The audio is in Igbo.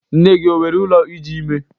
Nne gi o were ụlọ iji ime?